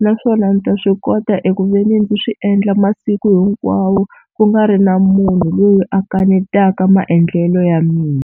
naswona ndzi ta swi kota eku veni ndzi swi endla masiku hinkwawo ku nga ri na munhu loyi a kanetaka maendlelo ya mina.